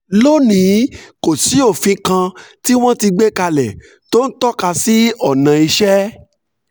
lónìí kò sí òfin kan tí wọ́n ti gbé kalẹ̀ tó ń tọ́ka sí ọ̀ràn iṣẹ́